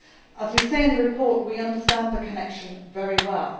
As we say in the report, we understand the connection very well.